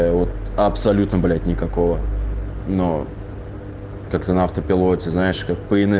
абсолютно блять никакого но как-то на автопилоте знаешь как по инерции